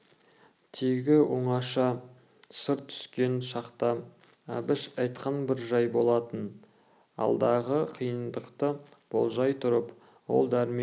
тегі оңаша сыр түйіскен шақта әбіш айтқан бір жай болатын алдағы қиындықты болжай тұрып ол дәрмен